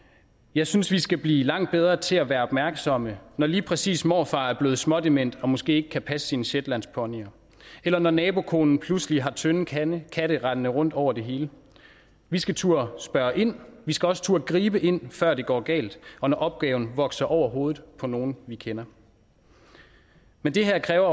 jeg synes vi skal blive langt bedre til at være opmærksomme når lige præcis morfar er blevet smådement og måske ikke kan passe sine shetlandsponyer eller når nabokonen pludselig har tynde katte katte rendende rundt over det hele vi skal turde spørge ind vi skal også turde gribe ind før det går galt og når opgaven vokser over hovedet på nogen vi kender men det her kræver